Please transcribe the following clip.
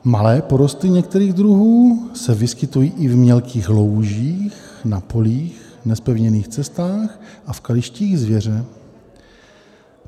Malé porosty některých druhů se vyskytují i v mělkých loužích na polích, nezpevněných cestách a v kalištích zvěře.